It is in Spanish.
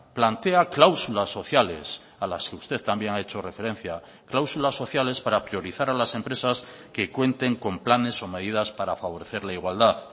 plantea cláusulas sociales a las que usted también ha hecho referencia cláusulas sociales para priorizar a las empresas que cuenten con planes o medidas para favorecer la igualdad